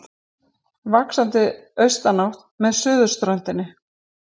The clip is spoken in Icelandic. Vaxandi austanátt með suðurströndinni